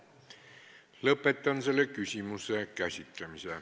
Lõpetan selle küsimuse käsitlemise.